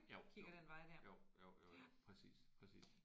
Jo jo jo jo jo præcis præcis